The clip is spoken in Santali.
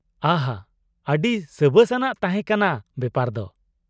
ᱟᱦᱟ ! ᱟ.ᱰᱤ ᱥᱟᱹᱵᱟᱹᱥ ᱟᱱᱟᱜ ᱛᱟᱦᱮᱸ ᱠᱟᱱᱟ ᱵᱮᱯᱟᱨ ᱫᱚ ᱾